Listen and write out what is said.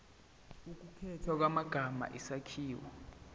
ukukhethwa kwamagama isakhiwo